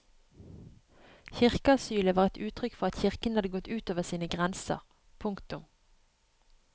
Kirkeasylet var et uttrykk for at kirken hadde gått ut over sine grenser. punktum